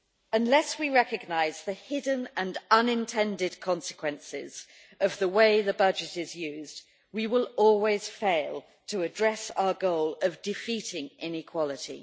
Unless we recognise the hidden and unintended consequences of the way the budget is used, we will always fail to address our goal of defeating inequality.